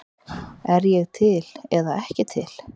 Er ég til eða ekki til?